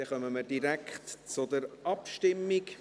Dann kommen wir direkt zur Abstimmung.